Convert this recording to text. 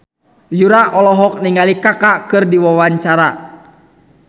Yura olohok ningali Kaka keur diwawancara